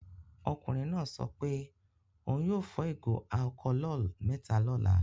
Ọkùnrin náà sọ pé òun yóò fọ ìgò alcholol mẹ́ta lọ́la.